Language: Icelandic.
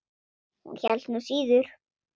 Hún hélt nú síður.